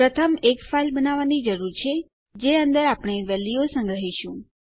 પ્રથમ એક ફાઇલ બનાવવાની જરૂર છે જે અંદર વેલ્યુઓ સંગ્રહીશું